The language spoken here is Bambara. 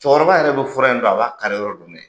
Cɛkɔrɔba yɛrɛ bi fura in dɔn a b'a kari yɔrɔ dɔn de.